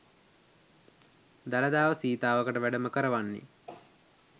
දළදාව සීතාවකට වැඩම කරවන්නේ